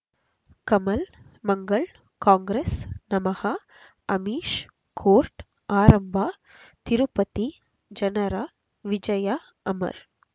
Kamal Mangal Congress ನಮಃ Amish court ಆರಂಭ ತಿರುಪತಿ ಜನರ ವಿಜಯ ಅಮರ್